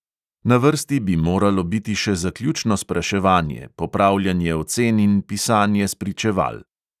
Na vrsti bi moralo biti še zaključno spraševanje, popravljanje ocen in pisanje spričeval.